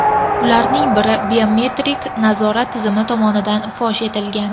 Ularning bari biometrik nazorat tizimi tomonidan fosh etilgan.